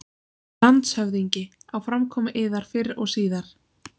LANDSHÖFÐINGI: Á framkomu yðar fyrr og síðar.